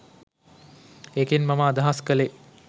ඒකෙන් මම අදහස් කළේ